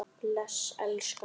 Bless elskan!